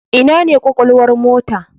Ina ne kwakwalwar mota?